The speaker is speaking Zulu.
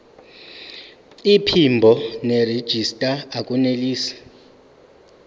iphimbo nerejista akunelisi